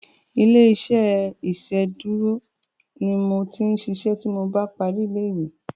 Ilé-iṣẹ́ iṣedúró ni n o ti ṣiṣẹ́ tí mo bá parí ilé-ìwé